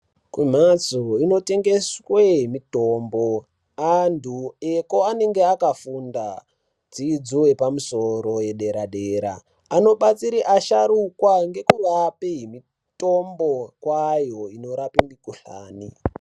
Kumhatso dzinotengese mitombo antu eko anenge akafunda dzidzo yepamusoro yedera-dera. Anobetsere asharukwa ngekuape mitombo kwayo inorape mikhuhlani.